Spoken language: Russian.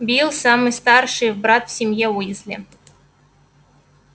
билл самый старший брат в семье уизли